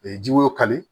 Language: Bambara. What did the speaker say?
ji woyo kari